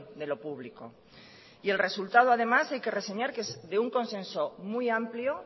de lo público y el resultado además hay que reseñar que es de un consenso muy amplio